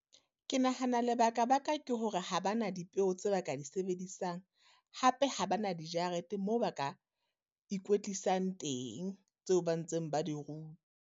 Ke nahana lebakabaka ke hore ha ba na dipeo tse ba ka di sebedisang. Hape ha ba na dijarete moo ba ka ikwetlisang teng, tseo ba ntseng ba di .